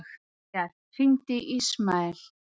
Viljar, hringdu í Ísmael.